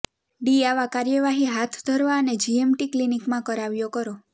D આવા કાર્યવાહી હાથ ધરવા અને જીએમટી ક્લીનીકમાં કરાવ્યો કરો